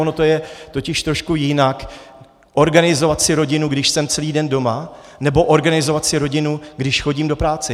Ono je to totiž trošku jinak, organizovat si rodinu, když jsem celý den doma, nebo organizovat si rodinu, když chodím do práce.